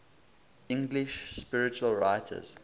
english spiritual writers